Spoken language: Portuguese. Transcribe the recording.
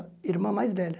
Irmã mais velha.